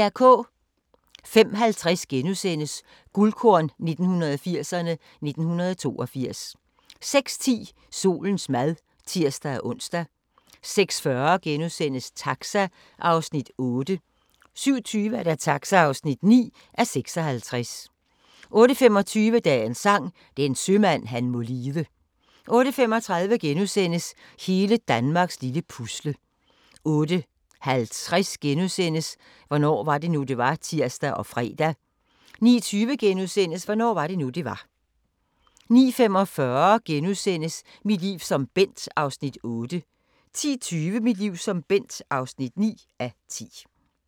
05:50: Guldkorn 1980'erne: 1982 * 06:10: Solens mad (tir-ons) 06:40: Taxa (8:56)* 07:20: Taxa (9:56) 08:25: Dagens Sang: Den sømand han må lide 08:35: Hele Danmarks lille Pusle * 08:50: Hvornår var det nu, det var? *(tir og fre) 09:20: Hvornår var det nu, det var? * 09:45: Mit liv som Bent (8:10)* 10:20: Mit liv som Bent (9:10)